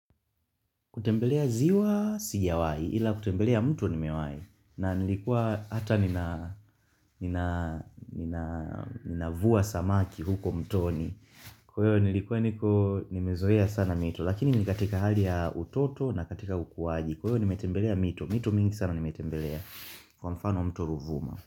Kutembelea ziwa sijawai ila kutembelea mto nimewahi na nilikuwa hata navuwa samaki huko mtoni. Kwahiyo nilikuwa niko nimezoea sana mito lakini nikatika hali ya utoto na katika ukuaji. Kwahiyo nimetembelea mito. Mito mingi sana nimetembelea kwa mfano mto ruvuma.